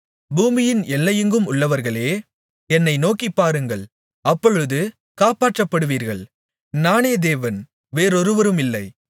பூமியின் எல்லையெங்குமுள்ளவர்களே என்னை நோக்கிப்பாருங்கள் அப்பொழுது காப்பாற்றப்படுவீர்கள் நானே தேவன் வேறொருவரும் இல்லை